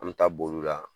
An bɛ taa boli u la